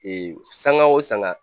sanga o sanga.